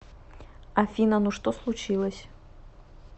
афина ну что случилось